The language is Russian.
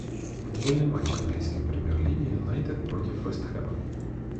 футбольный матч английской премьер лиги юнайтед против вест хэма